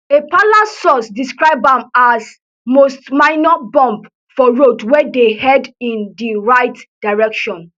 a palace source describe am as most minor bump for road wey dey head in di right direction